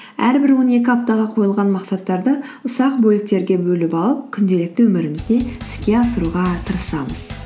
әрбір он екі аптаға қойылған мақсаттарды ұсақ бөліктерге бөліп алып күнделікті өмірімізде іске асыруға тырысамыз